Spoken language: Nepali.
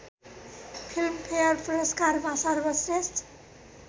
फिल्मफेयर पुरस्कारमा सर्वश्रेष्‍ठ